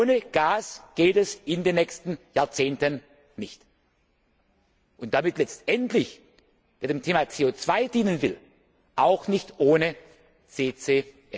Ohne Gas geht es in den nächsten Jahrzehnten nicht, und damit letztendlich wenn man dem Thema CO 2 dienen will auch nicht ohne CCS.